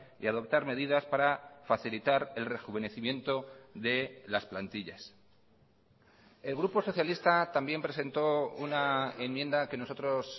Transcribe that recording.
y adoptar medidas para facilitar el rejuvenecimiento de las plantillas el grupo socialista también presentó una enmienda que nosotros